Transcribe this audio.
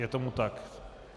Je tomu tak.